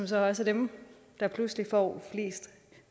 så også er dem der pludselig får flest